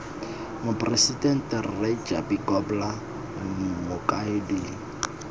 moporesidente rre japie grobler mokaedi